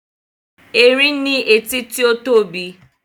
Erin ní etí tí ó tóbi